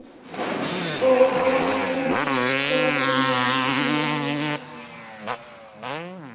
Og Eggert kom með mér.